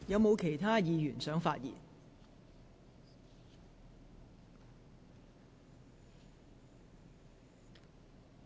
是否有其他議員想發言？